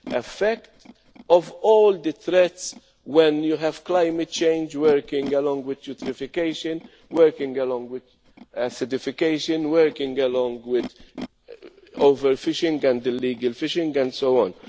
effect of all the threats, when you have climate change working along with eutrophication, working along with acidification, working along with overfishing and illegal fishing and so